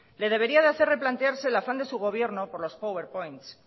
le debería hacer replantearse el afán de su gobierno por los power points